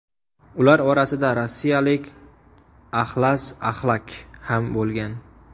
Ular orasida rossiyalik Axlas Axlak ham bo‘lgan.